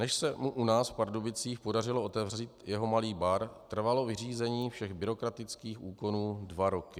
Než se mu u nás v Pardubicích podařilo otevřít jeho malý bar, trvalo vyřízení všech byrokratických úkonů dva roky.